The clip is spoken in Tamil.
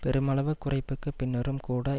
பெருமளவு குறைப்புக்கு பின்னரும் கூட